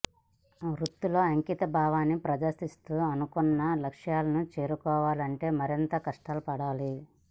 వృత్తిలో అంకిత భావాన్ని ప్రదర్శిస్తూ అనుకున్న లక్ష్యాలను చేరుకోవాలంటే మరింత కష్టపడాలి